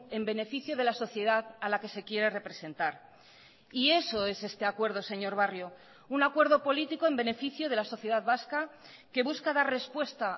en beneficio de la sociedad a la que se quiere representar y eso es este acuerdo señor barrio un acuerdo político en beneficio de la sociedad vasca que busca dar respuesta